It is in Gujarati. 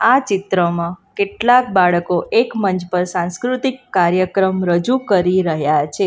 આ ચિત્રમાં કેટલાક બાળકો એક મંચ પર સાંસ્કૃતિક કાર્યક્રમ રજૂ કરી રહ્યા છે.